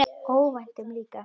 Óvæntum líka.